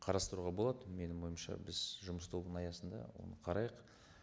қарастыруға болады менің ойымша біз жұмыс тобының аясында оны қарайық